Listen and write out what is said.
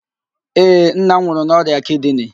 Ee, nna m nwụrụ n'ọrịa kidini